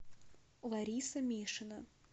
лариса мишина